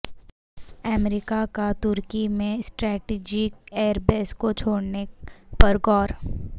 امریکہ کا ترکی میں سٹریٹیجک ایئر بیس کو چھوڑنے پر غور